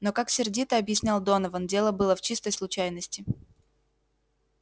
но как сердито объяснял донован дело было в чистой случайности